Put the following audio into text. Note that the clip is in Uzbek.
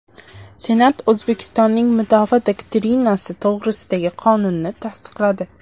Senat O‘zbekistonning mudofaa doktrinasi to‘g‘risidagi qonunni tasdiqladi.